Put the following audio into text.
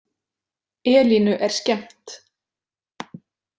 Elínu er skemmt.